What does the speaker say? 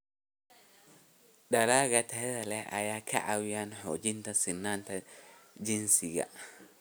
Dalagga tayada leh ayaa ka caawiya xoojinta sinnaanta jinsiga.